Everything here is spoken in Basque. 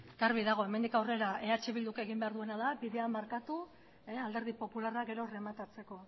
garbi dago hemendik aurrera eh bilduk egin behar duena da bidea markatu alderdi popularrak gero errematatzeko